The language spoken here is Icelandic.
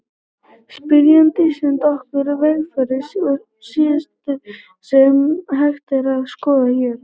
Spyrjandi sendi okkur veffang á síðu sem hægt er að skoða hér.